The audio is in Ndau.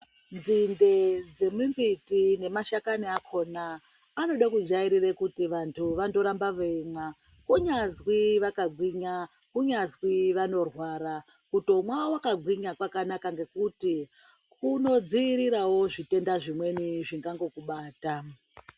Nzinde dzemimbiti nemashakani akona anodekujairira kuti vantu vandorambe veimwa kunyazwi vakagwiya kunyazwi vanorwara kutomwa wakagwinya kwakatonaka ngekuti kunodziirirawo zvimweni zvitenda zvingangokubata.